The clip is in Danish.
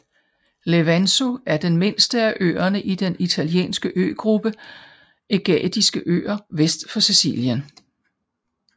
Levanzo er den mindste af øerne i den italienske øgruppe Ægadiske Øer vest for Sicilien